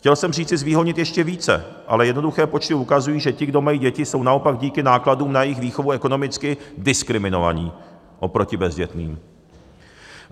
Chtěl jsem říci zvýhodnit ještě více, ale jednoduché počty ukazují, že ti, kdo mají děti, jsou naopak díky nákladům na jejich výchovu ekonomicky diskriminovaní oproti bezdětným.